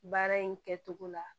Baara in kɛcogo la